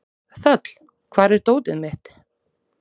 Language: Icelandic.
Þöll, hvar er dótið mitt?